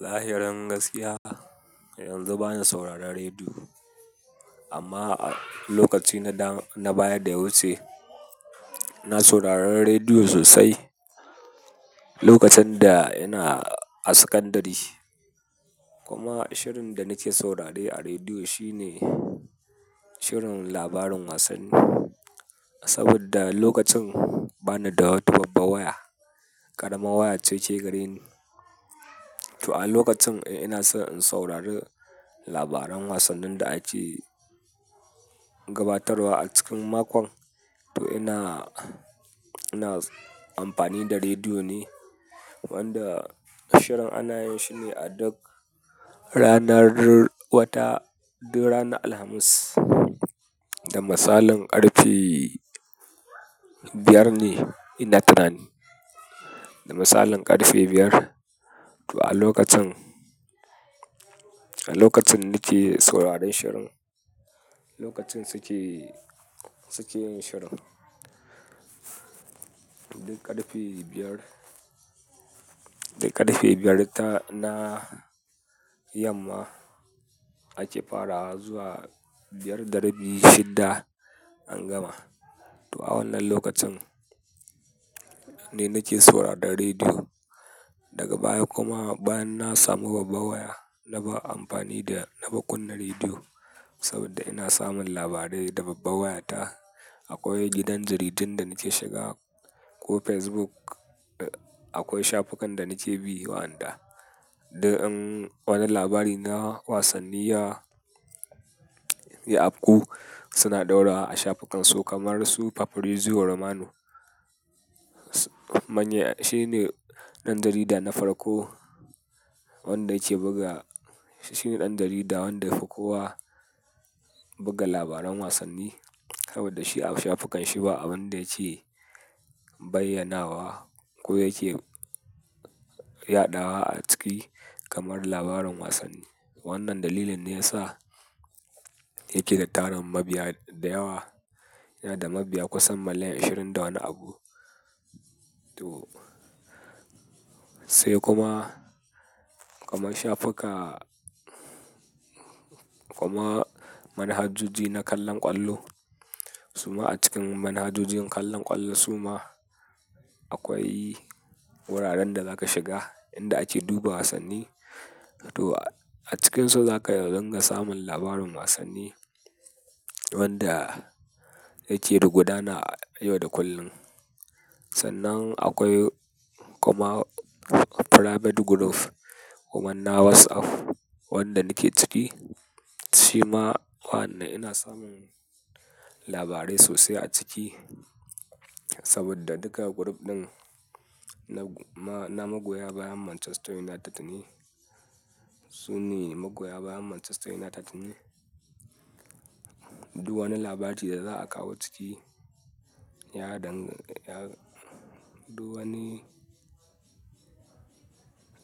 Zahirin gaskiya, yanzu bana sauraron rediyo. Amma a lokaci na baya da wuce, na sauraron rediyo sosai lokacin da ina a sakandare. Kuma shirin da nake saurare a rediyo shine shirin labarin wasanni. Saboda lokacin bana da wata babbar waya, ƙaramar waya cece gare ni. To a lokacin in ina son in saurari labaran wasannin da ake gabatarwa a cikin makon. To ina, ina amfani da rediyo ne. Wanda shirin ana yin shi ne a duk ranar wata, duk ranar Alhamis. Da misalin ƙarfe biyar ne ina tuna ni. Da misalin ƙarfe biyar. To a lokacin, a lokacin nake sauraron shirin, lokacin suke, suke yin shirin. Duk ƙarfe biyar, duk ƙarfe biyar ta na yamma ake farawa zuwa biyar da rabi shida an gama. To a wannan lokacin ne nake sauraron rediyo. Daga baya kuma bayan na samu babbar waya na bar amfani da, na bar kunna rediyo. Saboda ina samun labarai da babba waya ta. Akwai gidan jaridin da nake shiga ko Facebook. Akwai shafukan da nake bi wa'yanda duk in wani labari na wasanni ya, ya afku suna ɗaura a shafukan su kamar su Fabrizio Romano. Manya, shine ɗan jarida na farko wanda yake buga. Shi ne ɗan jarida wanda ya fi kowa buga labaran wasanni. Saboda shi a shafukan shi ba abun da yake bayyanawa ko yake yaɗawa a ciki kamar labaran wasanni. Wannan dalilin ne ya sa yake da tarin mabiya da yawa. Yana da mabiya kusan miliyan ashirin da wani abu. To sai kuma, kamar shafuka kuma manhajoji na kallon ƙwallo. Suma a cikin manhajojin kallon ƙwallo suma akwai wuraren da za ka shiga inda ake duba wasanni. To a cikinsu za ka iya ringa samun labarin wasanni wanda yake da gudana a yau da kullum. Sannan akwai kuma private group kuma na WhatsApp wanda nake ciki. Shi ma wannan ina samun labarai sosai a ciki. Saboda duka group ɗin na magoya bayan Manchester United ne. Su ne magoya bayan Manchester United ne. Duk wani labari da za a kawo ciki, ya dang, ya, duk wani,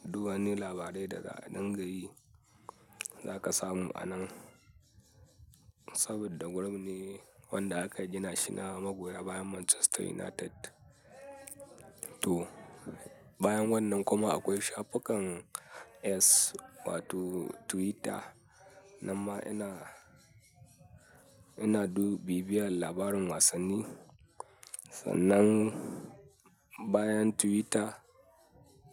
duk wani labarai da za a dingayi za ka samu a nan. Saboda group ne wanda aka gina shi na magoya bayan Manchester United. To bayan wannan kuma akwai shafukan X wato Twitter. Amma ina, ina dub, bibiyar labarin wasanni. Sannan bayan Twitter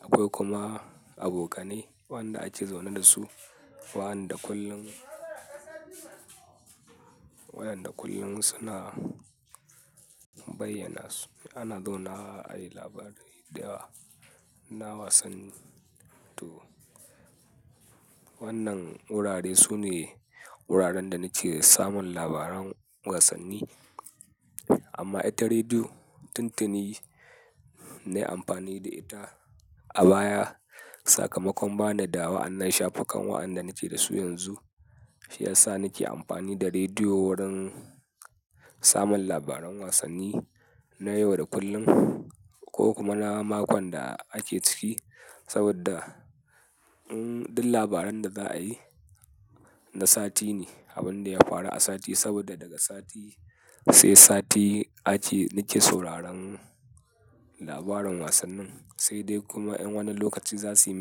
akwai kuma abokanai waɗanda ake zaune da su. Wa'yanda kullum, wa'yanda kullum suna bayyana su. Ana zaunawa ayi labarai dayawa na wasanni. To wannan wurare su ne wuraren da nake samun labaran wasanni. Amma ita rediyo, tuntuni nayi amfani da ita. A baya sakamakon bani da wa'yannan shafukan wa'yanda nake da su yanzu, shi ya sa nake amfani da rediyo wurin samun labaran wasanni na yau da kullum ko kuma na makon da ake ciki. Saboda duk labaran da za a yi na sati ne. Abin da ya faru a sati saboda daga sati sai sati ake, nake sauraron labaran wasannin. Sai dai kuma in wani lokaci za su yi.